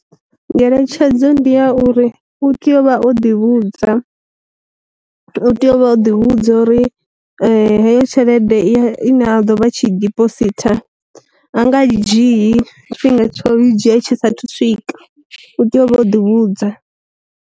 Ngeletshedzo ndi ya uri u tea uvha o ḓi vhudza u tea u vha o ḓi vhudza uri heyo tshelede ya i na do vha tshi dibositha a nga i dzhiyi tshifhinga tsho yo dzhia tshisa thu swika, u tea u vha o ḓi vhudza.